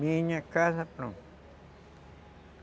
Minha casa pronta.